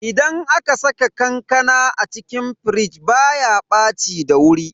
Idan aka saka kankana a cikin firij baya ɓaci da wuri.